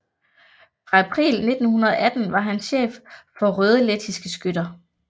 Fra april 1918 var han chef for Røde Lettiske Skytter